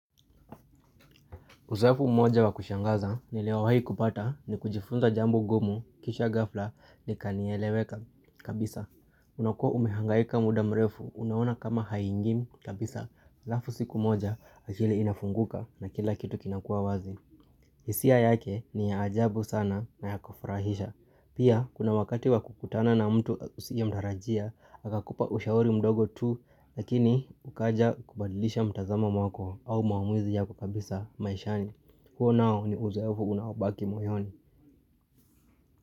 Uzoefu mmoja wa kushangaza niliwahi kupata nikujifunza jambo ngumu kisha ghafla nikanieleweka kabisa. Unakwa umehangaika muda mrefu unaona kama haingii kabisa halafu siku moja akili inafunguka na kila kitu kinakuwa wazi. Hisia yake ni ya ajabu sana na ya kufurahisha. Pia kuna wakati wa kukutana na mtu usiye mtarajia akakupa ushauri mdogo tu lakini ukaja kubadilisha mtazamo wako au maamuzi yako kabisa maishani. Huu nao ni uzoefu unaobaki moyoni.